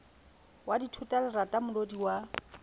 wa dithota lerata molodi wa